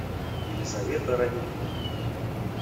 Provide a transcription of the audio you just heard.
елизавета рамильевна